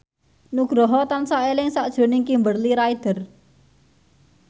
Nugroho tansah eling sakjroning Kimberly Ryder